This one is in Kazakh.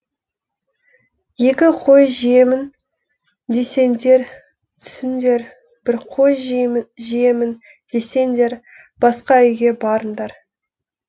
екі қой жеймін десеңдер түсіңдер бір қой жеймін десеңдер басқа үйге барыңдар